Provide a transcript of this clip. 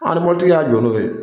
ɔ ni mobikitigi y'a ja n'o ye.